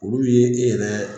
Olu ye e yɛrɛ.